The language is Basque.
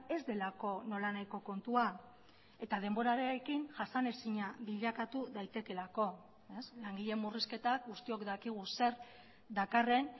ez delako nolanahiko kontua eta denborarekin jasanezina bilakatu daitekeelako langileen murrizketak guztiok dakigu zer dakarren